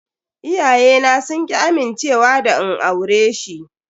Iyayena sun ki amincewa da in aure shi.